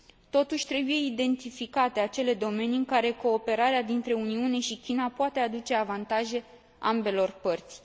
Totuși, trebuie identificate acele domenii în care cooperarea dintre Uniune și China poate aduce avantaje ambelor părți.